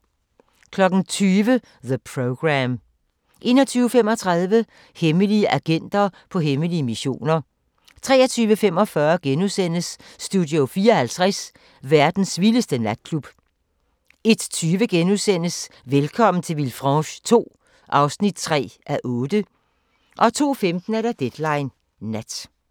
20:00: The Program 21:35: Hemmelige agenter på hemmelige missioner 23:45: Studio 54 – verdens vildeste natklub * 01:20: Velkommen til Villefranche II (3:8)* 02:15: Deadline Nat